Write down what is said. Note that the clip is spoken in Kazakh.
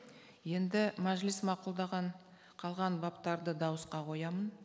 енді мәжіліс мақұлдаған қалған баптарды дауысқа қоямын